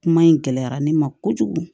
Kuma in gɛlɛyara ne ma kojugu